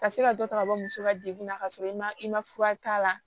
Ka se ka dɔ ta ka bɔ muso ka degun na ka sɔrɔ i ma i ma fura k'a la